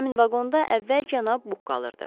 Həmin vaqonda əvvəl cənab Buq qalırdı.